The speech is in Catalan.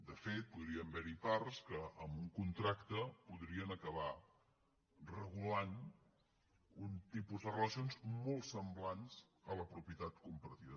de fet podrien haver hi parts que amb un contracte podrien acabar regulant un tipus de relacions molt semblants a la propietat compartida